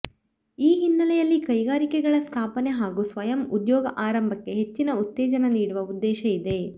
ಈ ಹಿನ್ನಲೆಯಲ್ಲಿ ಕೈಗಾರಿಕೆಗಳ ಸ್ಥಾಪನೆ ಹಾಗೂ ಸ್ವಯಂ ಉದ್ಯೋಗ ಆರಂಭಕ್ಕೆ ಹೆಚ್ಚಿನ ಉತ್ತೇಜನ ನೀಡುವ ಉದ್ದೇಶ ಇದೆ